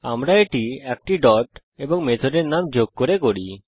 আমরা এটি একটি ডট এবং মেথডের নাম যোগ করে করি